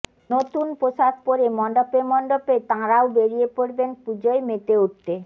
নতুন পুোশাক পরে মণ্ডপে মণ্ডপে তাঁরাও বেড়িয়ে পড়বেন পুজোয় মেতে উঠতে